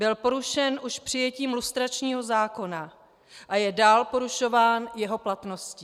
Byl porušen už přijetím lustračního zákona a je dál porušován jeho platností.